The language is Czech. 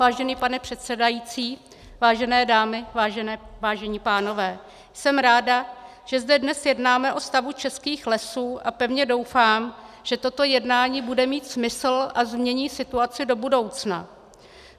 Vážený pane předsedající, vážené dámy, vážení pánové, jsem ráda, že zde dnes jednáme o stavu českých lesů, a pevně doufám, že toto jednání bude mít smysl a změní situaci do budoucna.